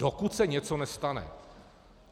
Dokud se něco nestane.